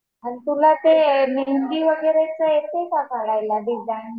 आणि तुला ते मेहेंदी वगैरे येते का काढायला? डिजाईन?